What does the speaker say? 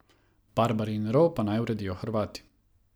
Barbarin rov pa naj uredijo Hrvati.